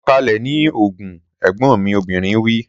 Sọ̀kalẹ̀ ní Ogun! Ẹ̀gbọ́n mi obìnrin wí.